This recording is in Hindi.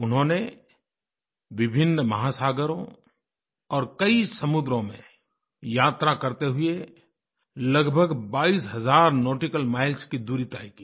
उन्होंने विभिन्न महासागरों और कई समुद्रों में यात्रा करते हुए लगभग बाईस हज़ार नौटिकल माइल्स की दूरी तय की